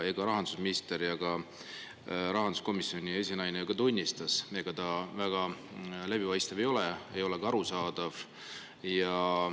Rahandusminister ja ka rahanduskomisjoni esinaine tunnistasid, et ega ta väga läbipaistev ei ole, ei ole ka arusaadav.